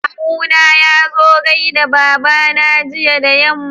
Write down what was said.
Kawu na yazo gaida babana jiya da yamma.